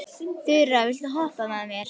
Þura, viltu hoppa með mér?